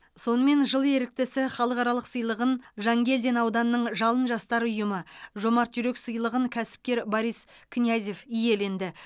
сонымен жыл еріктісі халықаралық сыйлығын жангелдин ауданының жалын жастар ұйымы жомарт жүрек сыйлығын кәсіпкер борис князев иеленді